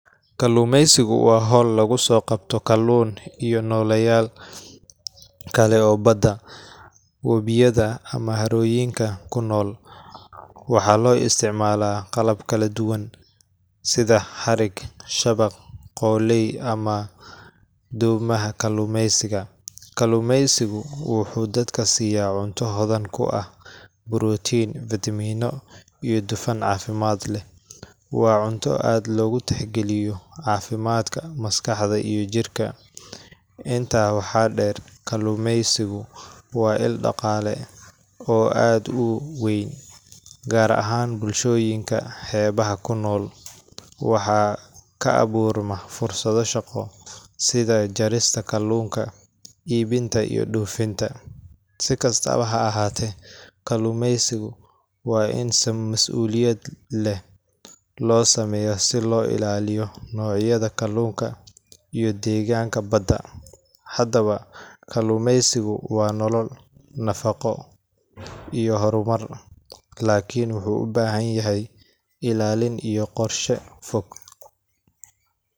Kalluumaysigu waa hawl lagu soo qabto kalluun iyo nooleyaal kale oo badda, wabiyada ama harooyinka ku nool. Waxaa loo isticmaalaa qalab kala duwan sida xarig, shabaq, qoolley ama doomaha kalluumaysiga. Kalluumaysigu wuxuu dadka siiya cunto hodan ku ah borotiin, fitamiino, iyo dufan caafimaad leh. Waa cunto aad loogu tixgeliyo caafimaadka maskaxda iyo jirka. Intaa waxaa dheer, kalluumaysigu waa il dhaqaale oo aad u weyn, gaar ahaan bulshooyinka xeebaha ku nool. Waxaa ka abuurma fursado shaqo sida jarista kalluunka, iibinta, iyo dhoofinta. Si kastaba ha ahaatee, kalluumaysiga waa in si mas’uuliyad leh loo sameeyaa si loo ilaaliyo noocyada kalluunka iyo deegaanka badda. Haddaba, kalluumaysigu waa nolol, nafaqo, iyo horumar laakiin wuxuu u baahan yahay ilaalin iyo qorshe fog.